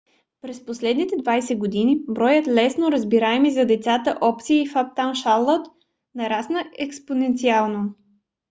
през последните 20 години броят лесно разбираеми за децата опции в uptown charlotte нарасна експоненциално